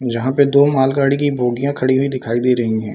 जहाँ पे दो मालगाड़ी की बोगियाँ खड़ी हुई दिखाई दे रही हैं ।